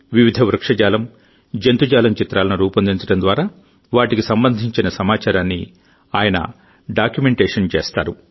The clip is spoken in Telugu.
వివిధ వృక్షజాలం జంతుజాలం చిత్రాలను రూపొందించడం ద్వారా వాటికి సంబంధించిన సమాచారాన్ని ఆయన డాక్యుమెంటేషన్ చేస్తారు